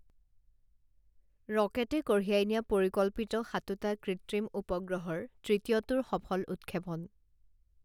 ৰকেটে কঢ়িয়াই নিয়া পৰিকল্পিত সাতোটা কৃত্ৰিম উপগ্ৰহৰ তৃতীয়টোৰ সফল উৎক্ষেপন